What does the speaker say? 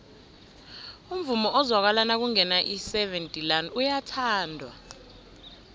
umvumo ozwakala nakungena iseven delaan uyathandwa